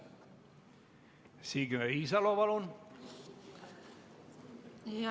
Signe Riisalo, palun!